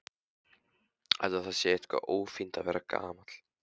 Ætli það sé eitthvað ófínt að vera gamall?